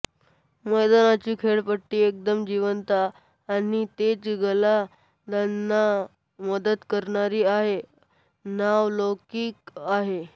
मैदानाची खेळपट्टीचा एकदम जिवंत आणि तेज गोलंदाजांना मदत करणारी असा नावलौकिक आहे